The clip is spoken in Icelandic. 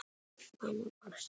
Mamma brosti.